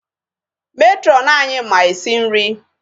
Matron anyị ma esi nri.